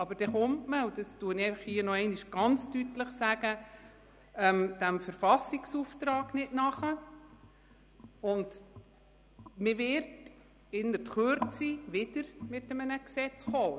Aber dann kommt man dem Verfassungsauftrag nicht nach, und man wird in Kürze wieder mit einem Gesetz kommen.